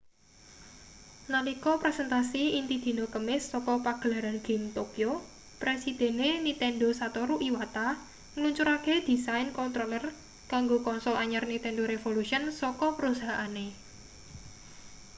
nalika presentasi inti dina kemis saka pagelaran game tokyo presidene nintendo satoru iwata ngluncurake desain controller kanggo konsol anyar nintendo revolution saka perusahaane